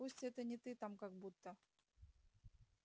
пусть это не ты там как будто